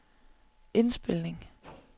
indspilning